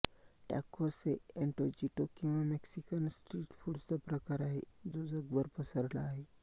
tacos एंटोजिटो किंवा Mexican street फूडचा प्रकार आहे जो जगभर पसरला आहे